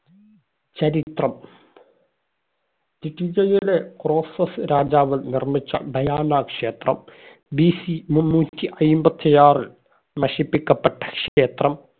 ചരിത്രം. ലിഡിയയിലെ ക്രോസസ്സ് രാജാവ് നിർമ്മിച്ച ഡയാന ക്ഷേത്രം BC മുന്നൂറ്റി അയ്മ്പത്തി ആറ് നശിപ്പിക്കപ്പെട്ട ക്ഷേത്രം